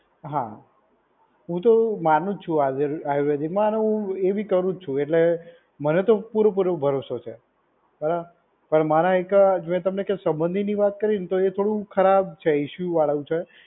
હા, હું તો માનું જ છું આયુર્વેદ આયુર્વેદિકમાં અને હું એ બી કરું જ છું. એટલે મને તો પૂરે પૂરો ભરોસો છે. બરાબર. પણ મારા એક જો મેં તમને કે સંબંધીની વાત કરીને તો એ થોડું ખરાબ છે, ઇસ્યુ વાડું છે.